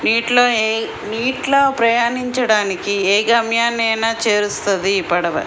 నీటిలో నీటిలో ప్రయాణించడానికి ఏ గమ్యాన్ని చేరుస్తుంది ఈ పడవ.